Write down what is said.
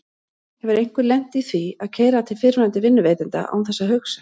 Hefur einhver lent í því að keyra til fyrrverandi vinnuveitanda án þess að hugsa?